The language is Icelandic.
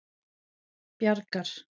Bjargar